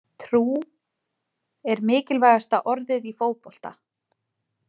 Trú er mikilvægasta orðið í fótbolta.